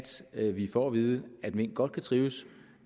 at vi får at vide at mink godt kan trives